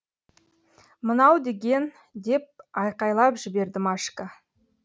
мынау деген деп айқайлап жіберді машка